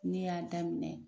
Ne y'a daminɛ